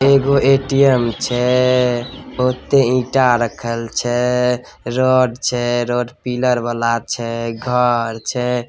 एगो ए_टी_एम छै बहुते ईटा रखल छै रड छै रड पिलर वाला छै घर छै।